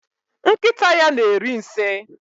Nkịta ya na-eri nsị.